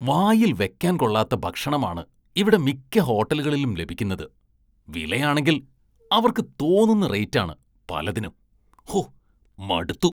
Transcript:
വായില്‍ വെയ്ക്കാന്‍ കൊള്ളാത്ത ഭക്ഷണമാണ് ഇവിടെ മിക്ക ഹോട്ടലുകളിലും ലഭിക്കുന്നത്, വിലയാണെങ്കില്‍ അവര്‍ക്ക് തോന്നുന്ന റേറ്റാണ് പലതിനും, ഹോ മടുത്തു.